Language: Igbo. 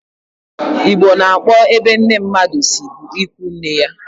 Igbo na-akpo ebe nne mmadụ si bụ ịkwụ nne ya